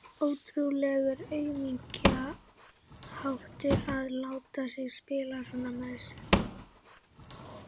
Ótrúlegur aumingjaháttur að láta hana spila svona með sig.